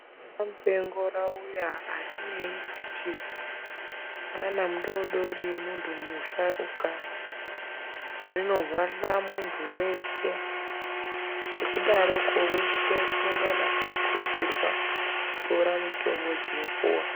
Mupengo rauya arinei kuti mwana mudoridori muntu musharuka, rinohwahla muntu weshe ngekudaroko weshe unongana eikurudzirwa kutora mitombo dzinopuwa.